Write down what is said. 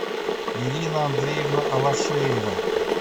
ирина андреевна алашеева